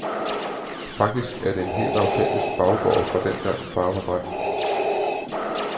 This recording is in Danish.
Faktisk er det en helt autentisk baggård fra dengang, far var dreng.